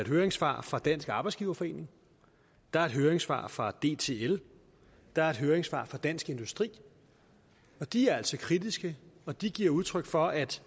høringssvar fra dansk arbejdsgiverforening der er et høringssvar fra dtl der er et høringssvar fra dansk industri de er altså kritiske og de giver udtryk for at